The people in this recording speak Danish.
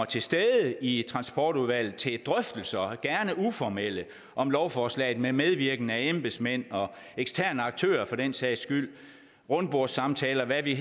til stede i transportudvalget til drøftelser gerne uformelle om lovforslaget med medvirkende embedsmænd og eksterne aktører for den sags skyld rundbordssamtaler hvad vi